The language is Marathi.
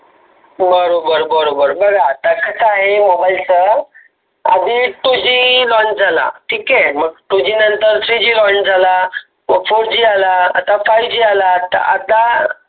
बरोबर बरोबर बर आता कस आहे. mobile चं आधी twoGlaunch झाला. ठीक आहे नंतर three Glaunch झाला fourG आला fiveG आला त आता